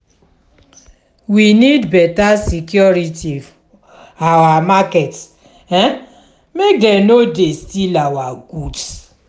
we need beta security for our market um make dem no dey steal our goods.